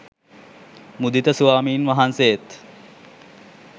මුදිත ස්වාමින් වහන්සේත්